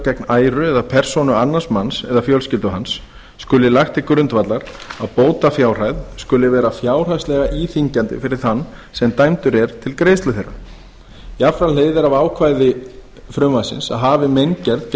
gegn æru eða persónu annars manns eða fjölskyldu hans skuli lagt til grundvallar að bótafjárhæð skuli vera fjárhagslega íþyngjandi fyrir þann sem dæmdur er til greiðslu þeirra jafnframt leiðir af ákvæði frumvarpsins að hafi meingerð